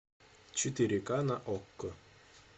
четыре к на окко